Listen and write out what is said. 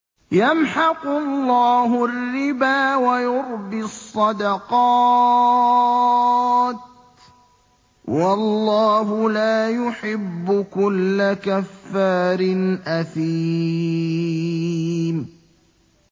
يَمْحَقُ اللَّهُ الرِّبَا وَيُرْبِي الصَّدَقَاتِ ۗ وَاللَّهُ لَا يُحِبُّ كُلَّ كَفَّارٍ أَثِيمٍ